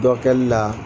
Dɔ kɛli la